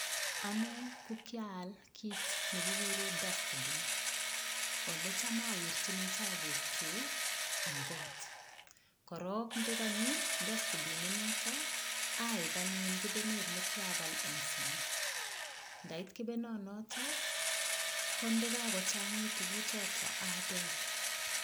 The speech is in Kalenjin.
Ane ko kial kiit ne kikure dustpin, olecham awirchini chabukchu eng got, korok ndekanyi dustpin inoto aib anyun kebenet ne kyabal eng sang, ndait kebenonoto, ko ndekakochangit tuguchoto abel.